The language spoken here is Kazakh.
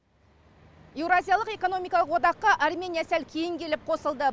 еуразиялық экономикалық одаққа армения сәл кейін келіп қосылды